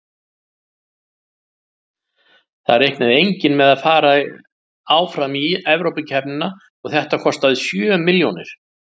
Það reiknaði enginn með að fara áfram í Evrópukeppninni og þetta kostaði sjö milljónir.